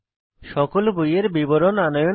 সকল বইয়ের বিবরণ আনয়ন করা